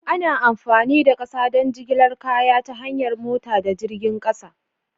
Ana amfani da ƙasa don jigilar kaya ta hanyar mota da jirgin ƙasa.